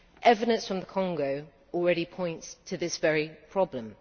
Evidence from the Congo already points to this very problem.